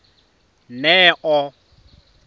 neo